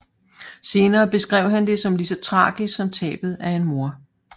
Senere beskrev han det som lige så tragisk som tabet af en mor